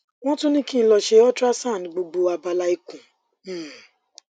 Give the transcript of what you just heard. wọn tún ní kí n lọ ṣe ultrasound gbogbo abala ikùn um